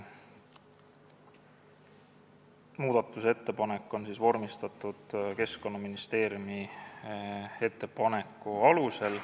Muudatusettepanek on vormistatud Keskkonnaministeeriumi ettepaneku alusel.